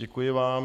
Děkuji vám.